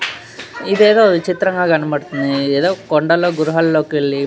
ఇధేదో విచిత్రంగా కనపడుతోంది ఇధేదో కొండల్లో గృహాల్లోకెళ్లి --